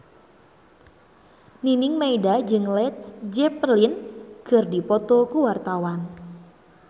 Nining Meida jeung Led Zeppelin keur dipoto ku wartawan